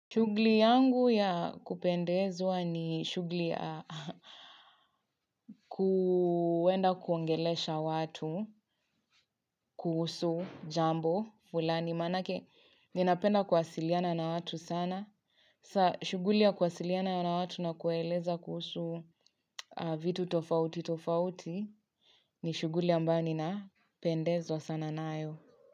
Shugli yangu ya kupendezwa ni shugli ya kuuenda kuongelesha watu, kuhusu jambo, fulani, manake ninapenda kuwasiliana na watu sana. Sa shughuli ya kuwasiliana na watu na kuwaeleza kuhusu vitu tofauti tofauti ni shuguli ambayo ni na pendezwa sana nayo.